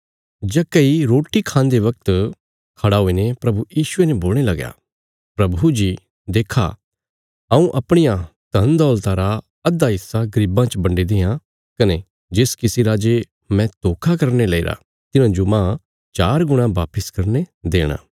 जक्कई रोटी खान्दे वगत खड़ा हुईने प्रभु यीशुये ने बोलणे लगया प्रभु जी देक्खा हऊँ अपणिया धनदौलता रा अधा हिस्सा गरीबां च बंडी देआं कने जिस किसी रा जे मैं धोखा करीने लैईरा तिन्हांजो मांह चार गुणा वापस करीने देणा